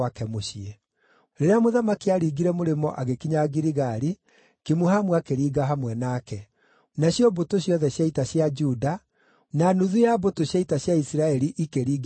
Rĩrĩa mũthamaki aaringire mũrĩmo agĩkinya Giligali, Kimuhamu akĩringa hamwe nake. Nacio mbũtũ ciothe cia ita cia Juda na nuthu ya mbũtũ cia ita cia Isiraeli ikĩringia mũthamaki.